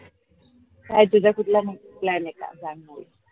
काय तुझा कुठला मग plan ए का ?